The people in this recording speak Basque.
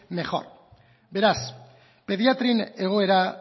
mejor beraz pediatrian egoera